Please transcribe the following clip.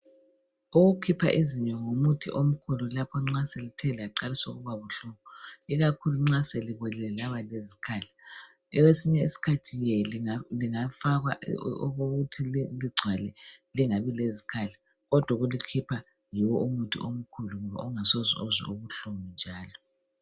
Ukukhipha izinyo ngumuthi omkhulu lapho nxa selithe laqalisa ukuba buhlungu ikakhulu nxa selibolile laba lezikhala. Kwesinye isikhathi ye lingafakwa okuthi ligcwale lingabi lezikhala kodwa ukulikhipha yiwo umuthi omkhulu ngoba ungasoze uzwe ubuhlungu njalo.